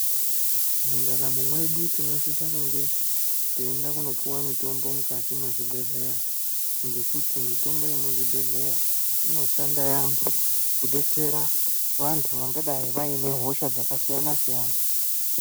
Mundaramo mwedu tinosisa kunge teienda kunopiwa mitombo mukati mwezvibhedhleya ngekuti mitombo yemuzvibhedhleya inoshanda yaamho kubetsera vantu vanagadai vane hosha dzakasiyana siyana.